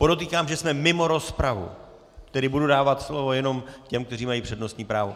Podotýkám, že jsme mimo rozpravu, tedy budu dávat slovo jenom těm, kteří mají přednostní právo.